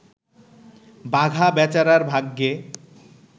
বাঘা বেচারার ভাগ্যে